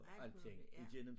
Alt muligt ja